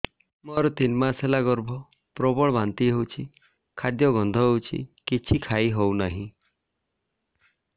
ମୋର ତିନି ମାସ ହେଲା ଗର୍ଭ ପ୍ରବଳ ବାନ୍ତି ହଉଚି ଖାଦ୍ୟ ଗନ୍ଧ ହଉଚି କିଛି ଖାଇ ହଉନାହିଁ